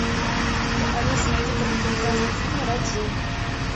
алиса найди короткометражный фильм раджу